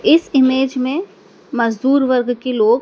इस इमेज में मजदूर वर्ग के लोग--